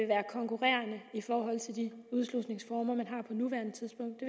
være konkurrerende i forhold til de udslusningsformer man har på nuværende tidspunkt